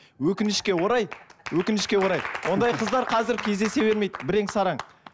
өкінішке орай өкінішке орай ондай қыздар қазір кездесе бермейді бірең сараң